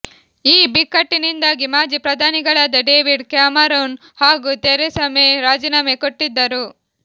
ಈ ಬಿಕ್ಕಟ್ಟಿನಿಂದಾಗೆ ಮಾಜಿ ಪ್ರಧಾನಿಗಳಾದ ಡೇವಿಡ್ ಕ್ಯಾಮರೂನ್ ಹಾಗೂ ಥೆರೇಸಾ ಮೇ ರಾಜೀನಾಮೆ ಕೊಟ್ಟಿದ್ದರು